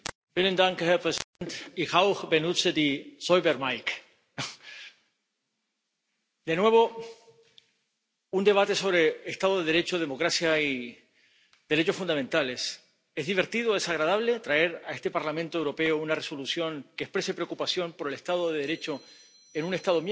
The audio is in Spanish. Señor presidente, de nuevo un debate sobre Estado de Derecho, democracia y derechos fundamentales. ¿Es divertido, es agradable traer a este Parlamento Europeo una Resolución que exprese preocupación por el Estado de Derecho en un Estado miembro?